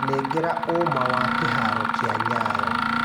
Nengera ũma wa kĩharo kĩa Nyayo